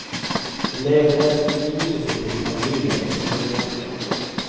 Hun leier forresten ut huset sitt til familier i sommermånedene.